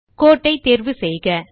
கோட்டை தேர்வு செய்யவும்